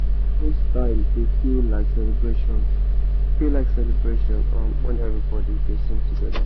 compost time dey feel like celebration feel like celebration um when everybody dey sing together.